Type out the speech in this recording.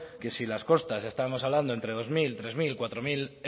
que si las costas estamos hablando entre dos mil tres mil cuatro mil